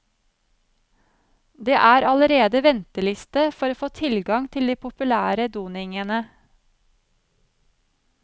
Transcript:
Det er allerede venteliste for å få tilgang til de populære doningene.